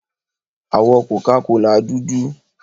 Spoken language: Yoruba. Àwọ̀ Coca-Cola dúdú.